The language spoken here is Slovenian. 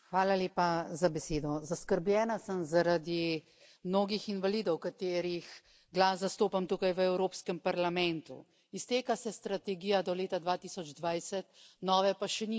Gospod predsednik, zaskrbljena sem zaradi mnogih invalidov, katerih glas zastopam tukaj v Evropskem parlamentu. Izteka se strategija do leta 2020, nove pa še nimamo.